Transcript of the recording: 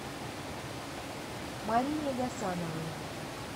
марине гасановой